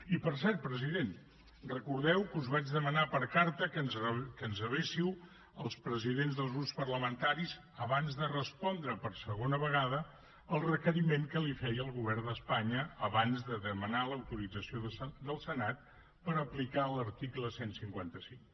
i per cert president recordeu que us vaig demanar per carta que ens rebéssiu als presidents dels grups parlamentaris abans de respondre per segona vegada el requeriment que li feia el govern d’espanya abans de demanar l’autorització del senat per aplicar l’article cent i cinquanta cinc